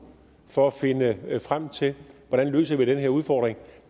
for at finde frem til hvordan vi løser den her udfordring